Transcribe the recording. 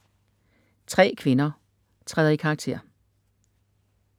Tre kvinder træder i karakter